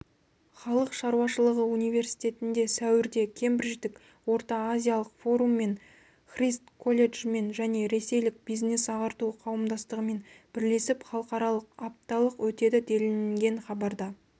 халық шаруашылығы университетінде сәуірде кембридждік орта-азиялық форуммен христ колледжімен және ресейлік бизнес-ағарту қауымдастығымен бірлесіп халықаралық апталық өтеді делінген хабарда